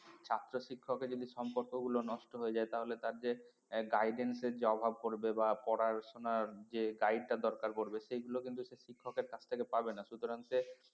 ছাত্র শিক্ষককে যদি সম্পর্ক গুলো নষ্ট হয়ে যায় তাহলে তার যে guidance এর যে অভাব পড়বে বা পড়াশোনার যে guide টা দরকার পড়বে সেগুলো কিন্তু সে শিক্ষকের কাছ থেকে পাবে না সুতরাং সে